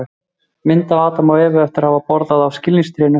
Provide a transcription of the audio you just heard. Mynd af Adam og Evu eftir að hafa borðað af skilningstrénu.